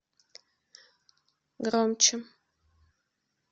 громче